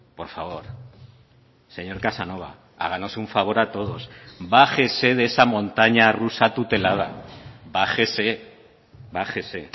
por favor señor casanova háganos un favor a todos bájese de esa montaña rusa tutelada bájese bájese